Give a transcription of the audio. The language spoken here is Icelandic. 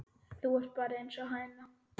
Þú ert bara einsog hæna.